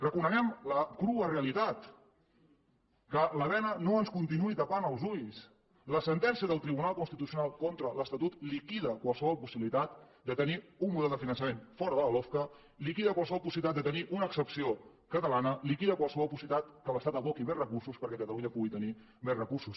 reconeguem la crua realitat que la bena no ens continuï tapant els ulls la sentència del tribunal constitucional contra l’estatut liquida qualsevol possibilitat de tenir un model de finançament fora de la lofca liquida qualsevol possibilitat de tenir una excepció catalana liquida qualsevol possibilitat que l’estat aboqui més recursos perquè catalunya pugui tenir més recursos